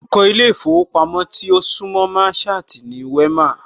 Orúkọ ilé ìfowópamọ́ tí ó súńmọ Merchant ni Wema